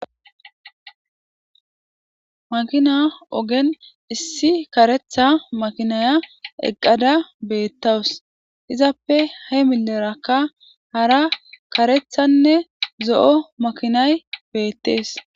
Makina ogen issi karetha makinaya eqqada beettawus izappe he milerakka hara karethanne zo'o makinay beettees